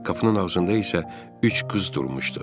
Qapının ağzında isə üç qız durmuşdu.